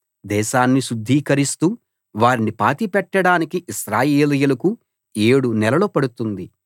దేశాన్ని శుద్ధీకరిస్తూ వారిని పాతిపెట్టడానికి ఇశ్రాయేలీయులకు ఏడు నెలలు పడుతుంది